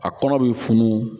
A kɔnɔ be funu